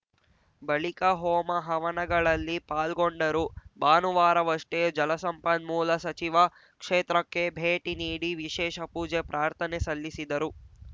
ಬಳಿಕ ಹೋಮ ಹವನಗಳಲ್ಲಿ ಪಾಲ್ಗೊಂಡರು ಭಾನುವಾರವಷ್ಟೇ ಜಲಸಂಪನ್ಮೂಲ ಸಚಿವ ಕ್ಷೇತ್ರಕ್ಕೆ ಭೇಟಿ ನೀಡಿ ವಿಶೇಷ ಪೂಜೆ ಪ್ರಾರ್ಥನೆ ಸಲ್ಲಿಸಿದರು